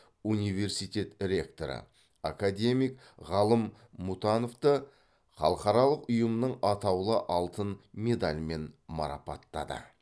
университет ректоры академик ғалым мұтановты халықаралық ұйымның атаулы алтын медалімен марапаттады